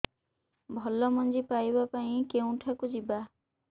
ଭଲ ମଞ୍ଜି ପାଇବା ପାଇଁ କେଉଁଠାକୁ ଯିବା